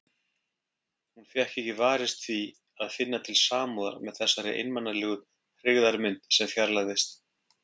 Hún fékk ekki varist því að finna til samúðar með þessari einmanalegu hryggðarmynd sem fjarlægðist.